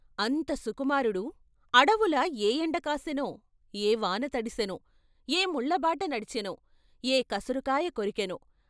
"అంత సుమారుడు అడవుల ఏ ఎండకాసెనో, ఏ వాన తడిసెనో, ఏ ముళ్ళబాట నడిచెనో, ఏ కసరుకాయ కొరికెనో....